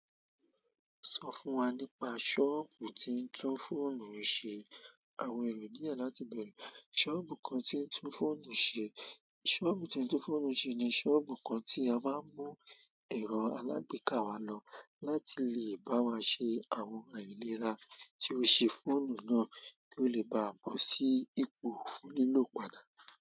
Sọ fún wa nípa ṣọ́ọ̀bù tí ń tún fóònù ṣe àwọn ẹ̀rọ díẹ̀ láti bẹ̀re. Ṣọ́ọ̀bù kan tí ń tún fóònù ṣe, ṣọ́ọ̀bù tí ń tún fóònù ṣe ni ṣọ́ọ̀bù kan tí a máa ń mú ẹ̀rọ alágbèéká wa lọ láti lè bá wa ṣe àwọn àìlera tí ó ṣe fóònù náà kí ó lè bá bọ́ sí ipò fún lílò padà.